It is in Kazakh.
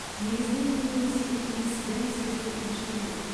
негізінен көбінесе иіс дәм сезу нашарлайды